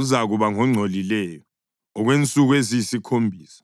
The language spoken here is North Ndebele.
uzakuba ngongcolileyo okwensuku eziyisikhombisa.